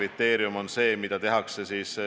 Vastus on, et loomulikult seda jälgitakse pidevalt.